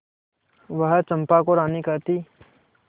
वह चंपा को रानी कहती